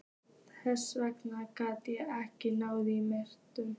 Þess vegna gat ég ekki náð í menntun.